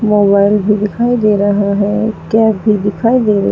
mobile भी दिखाई दे रहा है कैप भी दिखाई दे--